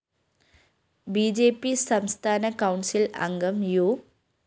B J P സംസ്ഥാന council‍ അംഗം U